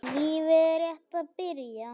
Lífið er rétt að byrja.